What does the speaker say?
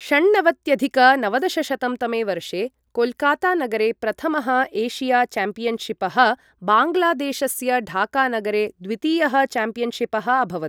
षण्णवत्यधिक नवदशशतं तमे वर्षे कोलकाता नगरे प्रथमः एशिया चैम्पियनशिपः, बाङ्गलादेशस्य ढाका नगरे द्वितीयः चॅम्पियनशिपः अभवत् ।